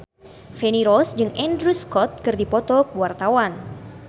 Feni Rose jeung Andrew Scott keur dipoto ku wartawan